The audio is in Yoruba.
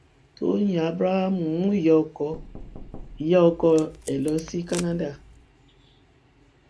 tọyìn abraham mú ìyá ọkọ ìyá ọkọ ẹ lọ sí canada